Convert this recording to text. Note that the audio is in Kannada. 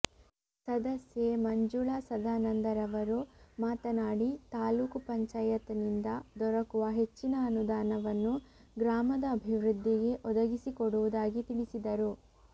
ಸದಸ್ಯೆ ಮಂಜುಳಾ ಸದಾನಂದರವರು ಮಾತನಾಡಿ ತಾಲೂಕು ಪಂಚಾಯತನಿಂದ ದೊರಕುವ ಹೆಚ್ಚಿನ ಅನುದಾನವನ್ನು ಗ್ರಾಮದ ಅಭಿವೃದ್ದಿಗೆ ಒದಗಿಸಿಕೊಡುವುದಾಗಿ ತಿಳಿಸಿದರು